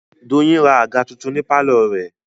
Doyin ra àga tuntun ní pálọ̀ rẹ̀